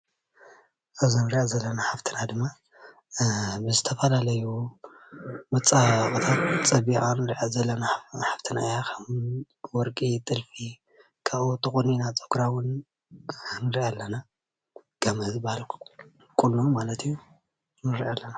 አዛ እንሪአ ዘለና ሓፍትና ድማ ብዝተፈላለዩ መፀባበቂታት ፀቢቃ ዘላ ሐፍትና እያ፡፡ ከም ወርቂ ጥልፊ ካብኡ እውን ተቆኒና ፀጉራ እውን ንሪኣ ኣለና፡፡ ጋመ ዝባሃል ቁኖ ተቆኒና ንሪኣ ኣለና፡፡